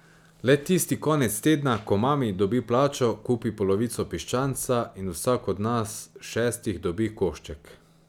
Le tisti konec tedna, ko mami dobi plačo, kupi polovico piščanca in vsak od nas šestih dobi košček.